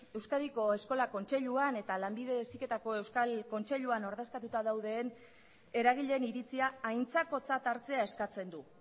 euskadiko eskola kontseiluan eta lanbide heziketako euskal kontseilua ordezkatuta dauden eragileen iritzia aintzakotzat hartzea eskatzen du